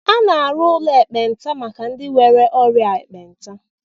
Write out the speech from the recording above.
A na-arụ ụlọ ekpenta maka ndị nwere ọrịa ekpenta